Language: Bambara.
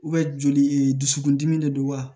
joli e dusukun dimi de don wa